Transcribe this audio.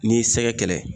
N'i y'i sɛgɛ kɛlɛ